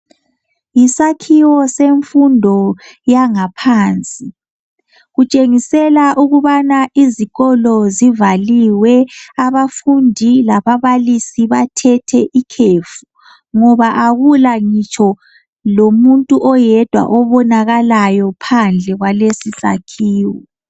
Yisakhiwo semfundo yangaphansi kutshengisela ukubana izikolo zivaliwe abafundi lababalisi bathethe ikhefu, ngoba akula ngitsho lomuntu oyedwa obonakalayo phandle kwalesisakhiwo.